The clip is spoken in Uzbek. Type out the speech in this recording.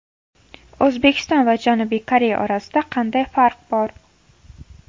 O‘zbekiston va Janubiy Koreya orasida qanday farq bor?